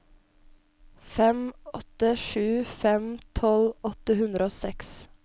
fem åtte sju fem tolv åtte hundre og seks